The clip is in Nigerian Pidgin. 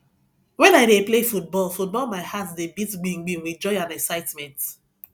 wen i dey play football football my heart dey beat gbim gbim with joy and excitement